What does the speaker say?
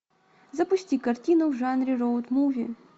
запусти картину в жанре роуд муви